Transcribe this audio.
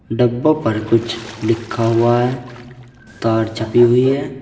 डब्बों पर कुछ लिखा हुआ है तार छपी हुई है।